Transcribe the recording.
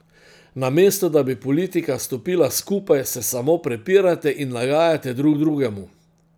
Namesto da bi politika stopila skupaj, se samo prepirate in nagajate drug drugemu.